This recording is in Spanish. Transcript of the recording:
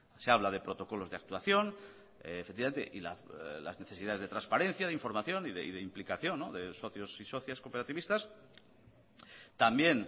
se habla de protocolos de actuación efectivamente y las necesidades de transparencia de información y de implicación de socios y socias cooperativistas también